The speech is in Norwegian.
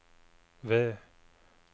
V